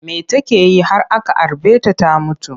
Me take yi har aka harbe ta ta mutu?